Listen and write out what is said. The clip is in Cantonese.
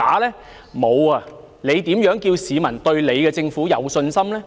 特首，你如何叫市民對你的政府有信心呢？